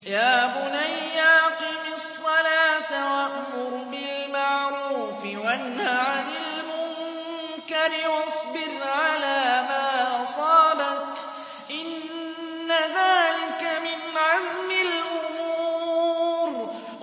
يَا بُنَيَّ أَقِمِ الصَّلَاةَ وَأْمُرْ بِالْمَعْرُوفِ وَانْهَ عَنِ الْمُنكَرِ وَاصْبِرْ عَلَىٰ مَا أَصَابَكَ ۖ إِنَّ ذَٰلِكَ مِنْ عَزْمِ الْأُمُورِ